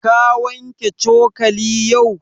Ka wanke cokali yau?